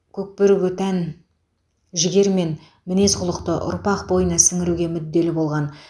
көкбөріге тән жігер мен мінез құлықты ұрпақ бойына сіңіруге мүдделі болған